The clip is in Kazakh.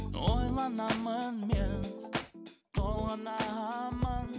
ойланамын мен толғанамын